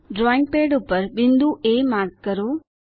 drawing pad ઉપર બિંદુ A mark કરો